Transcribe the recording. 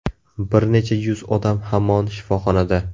Bir necha yuz odam hamon shifoxonada.